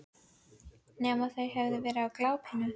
Hver veit nema þau hafi verið á glápinu.